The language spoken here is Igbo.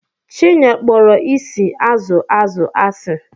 Chinyere kpọrọ isi azụ azụ asị.